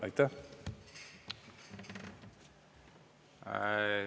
Aitäh!